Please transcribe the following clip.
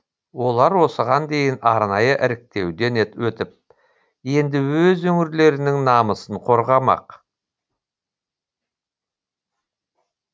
олар осыған дейін арнайы іріктеуден өтіп енді өз өңірлерінің намысын қорғамақ